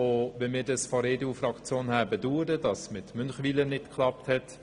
Die EDU-Fraktion bedauert, dass es mit Münchenwiler nicht geklappt hat.